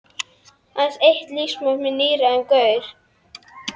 Aðeins eitt lífsmark með níræðum gaur.